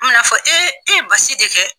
An bina fɔ e ye basi de kɛ